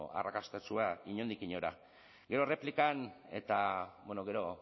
arrakastatsua inondik inora gero erreplikan eta bueno gero